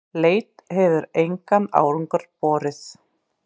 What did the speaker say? Leit hefur engan árangur borið.